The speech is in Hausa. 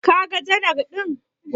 Kaga janar ɗin?